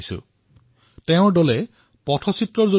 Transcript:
তেওঁ নিজৰ দলৰ সৈতে লোধী উদ্যানৰ আৱৰ্জনাৰ পাত্ৰৰ পৰা আৰম্ভ কৰিছে